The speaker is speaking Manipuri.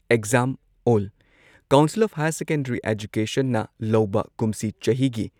exam all council of higher secondary ꯑꯦꯖꯨꯀꯦꯁꯟꯅ ꯂꯧꯕ ꯀꯨꯝꯁꯤ ꯆꯍꯤꯒꯤ